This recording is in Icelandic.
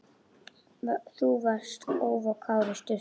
Þú varst óvarkár í sturtu.